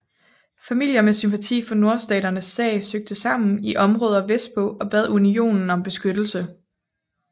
Familier med sympati for nordstaternes sag søgte sammen i områder vestpå og bad Unionen om beskyttelse